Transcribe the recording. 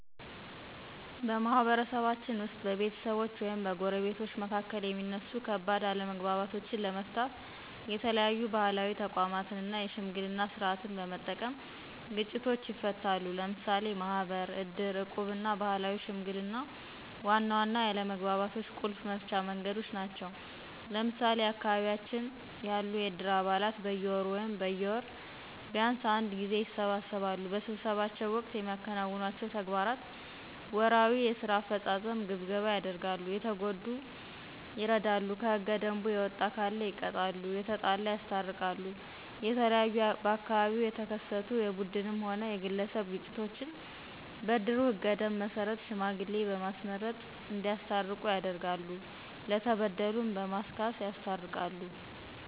በማህበረሰባችን ውስጥ በቤተሰቦች ወይም በጎረቤቶች መካከል የሚነሱ ከባድ አለመግባባቶችንለመፍታተት የተለያዩ ባህላዊ ተቋማትን እና የሽምግልና ስርዓትን በመጠቀም ግጭቶችን ይፈታሉ። ለምሳሌ ማህበር፣ ዕድር፣ ዕቁብና ባህላዊ ሽምግልና ዋና ዋና የአለመግባባቶች ቁልፍ መፍቻ መንገዶች ናቸው። ለምሳሌ በአካባቢያችን ያሉ የዕድር አባላት በየወሩ ወይም በወር ቢንስ አንድ ጊዜ ይሰበሰባሉ። በስብሰባቸው ወቅት የሚከውኗቸው ተግባራት ወርሃዊ የስራ አፈጻጸም ግምገማ ያደርጋሉ፣ የተጎዳ ይረዱ፣ ከህገ ደንቡ የወጣ ካለ ይቀጣሉ፣ የተጣላ ያስታርቃሉ። የተለያዩ በአካባቢው የተከሰቱ የቡድንም ሆነ የግለሰብ ግጭቶችን በእድሩ ህገ ደንብ መሰረት ሽማግሌ በማስመረጥ እዲያስታርቁ ያደርጋሉ፣ ለተበደሉ በማስካስ ያስታርቃሉ።